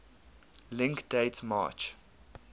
link date march